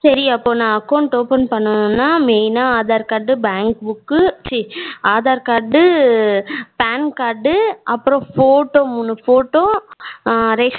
சரி அப்போ நா account open பண்ணனும்னா main னா aadhaar card, bank book க்கு சீ aadhar card, PAN card டு அப்புறம் photo மூனு photo அஹ ration